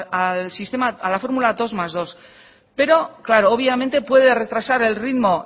a la fórmula dos más dos obviamente puede retrasar el ritmo